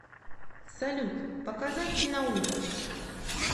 салют показать киноужас